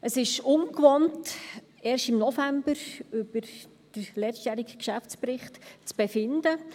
Es ist ungewohnt, erst im November über den letztjährigen Geschäftsbericht zu befinden.